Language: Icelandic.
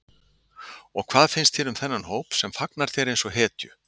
Og hvað finnst þér um þennan hóp sem fagnar þér eins og hetju?